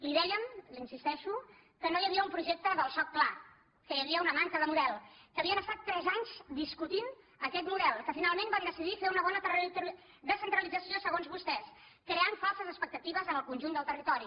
li dèiem l’hi insisteixo que no hi havia un projecte del soc clar que hi havia una manca de model que havien estat tres anys discutint aquest model que finalment van decidir fer una bona descentralització segons vostès i van crear falses expectatives en el conjunt del territori